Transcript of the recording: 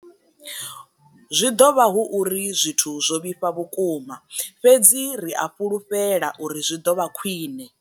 Zwi ḓo vha hu uri zwithu zwo vhifha vhukuma, fhedzi ri a fhulufhela uri zwi ḓo vha khwiṋe.